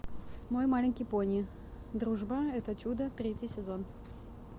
мой маленький пони дружба это чудо третий сезон